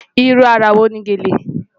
Ìrú ara wo ni gẹ́lẹ̀?